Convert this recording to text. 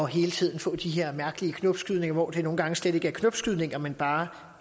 hele tiden får de her mærkelige knopskydninger hvor det nogle gange slet ikke er knopskydninger men bare